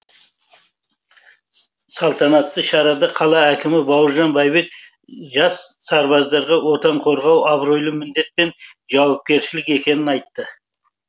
салтанатты шарада қала әкімі бауыржан бәйбек жас сарбаздарға отан қорғау абыройлы міндет пен жауапкершілік екенін айтты